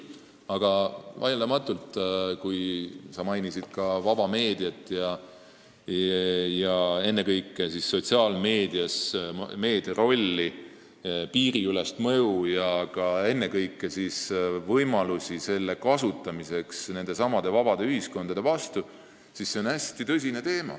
Aga vaieldamatult on hästi tõsine, samas hästi tundlik küsimus see, mida sa mainisid – vaba meedia, ennekõike sotsiaalmeedia piiriülene mõju ja kasutamise võimalused vabade ühiskondade vastu.